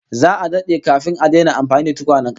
Za'a dade kafin a daina amfani da tukwanen kasa